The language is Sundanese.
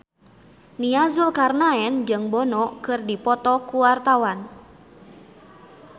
Nia Zulkarnaen jeung Bono keur dipoto ku wartawan